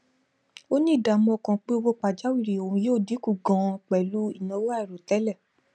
ó ní ìdààmú ọkàn pé owó pajáwìrì òun yóò dínkù ganan pẹlú ìnáwó àìròtẹlẹ